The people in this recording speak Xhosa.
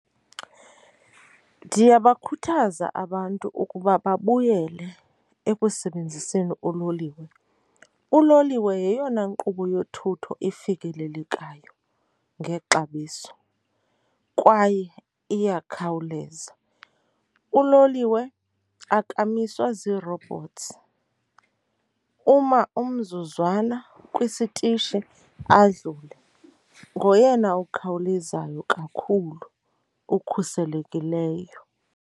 Ndingabakhuthaza abantu ukuba babuyele ekusebenziseni uloliwe. Uloliwe yeyona nkqubo yothutho efikelelekayo ngexabiso kwaye iyakhawuleza. Uloliwe akamiswa zii-robots, uma umzuzwana kwisitishi adlula. Ngoyena okhawulezayo kakhulu okhuselekileyo.